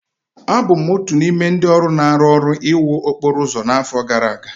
Abụ m otu n'ime ndị ọrụ na-arụ ọrụ iwu okporo ụzọ n'afọ gara aga.